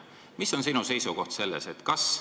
Mis on sinu seisukoht selles küsimuses?